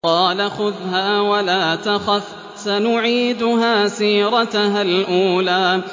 قَالَ خُذْهَا وَلَا تَخَفْ ۖ سَنُعِيدُهَا سِيرَتَهَا الْأُولَىٰ